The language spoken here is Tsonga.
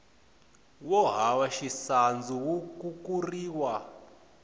wo hava xisandzu wu kukuriwa